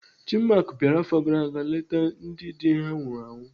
Chinmark bịara afọ gara aga leta ndị dị ha nwụrụ anwụ.